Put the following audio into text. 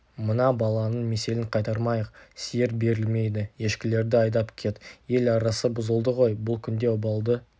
мына баланың меселін қайтармайық сиыр берілмейді ешкілерді айдап кет ел арасы бұзылды ғой бұл күнде обалды